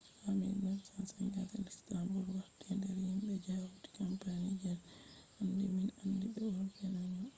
ha 1957 luxembourg warti nder himbe je hauti kampani je hande min andi be european union